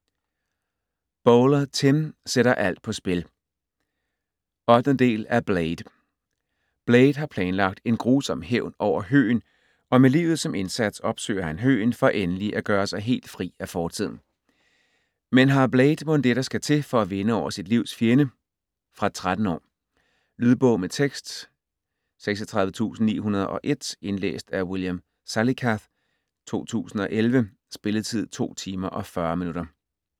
Bowler, Tim: Sætter alt på spil 8. del af Blade. Blade har planlagt en grusom hævn over Høgen, og med livet som indsats opsøger han Høgen for endelig at gøre sig helt fri af fortiden. Men har Blade mon det, der skal til for at vinde over sit livs fjende. Fra 13 år. Lydbog med tekst 36901 Indlæst af William Salicath, 2011. Spilletid: 2 timer, 40 minutter.